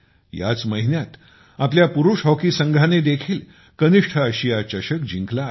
याच महिन्यात आपल्या पुरुष हॉकी संघाने देखील कनिष्ठ आशिया चषक जिंकला आहे